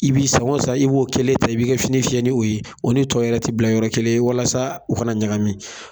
I b'i sako san i b'o kelen ta i bi ka fini fiyɛ ni o ye, o ni tɔw yɛrɛ ti bila yɔrɔ kelen walasa o kana ɲagami.